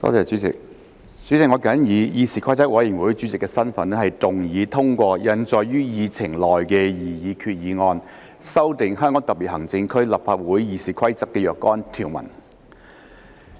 主席，我謹以議事規則委員會主席的身份，動議通過印載於議程內的擬議決議案，修訂《香港特別行政區立法會議事規則》的若干條文。